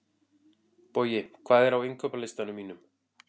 Bogi, hvað er á innkaupalistanum mínum?